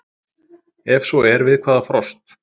Ef svo er við hvaða frost?